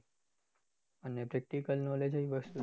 અને practical knowledge એવી વસ્તુ છે કે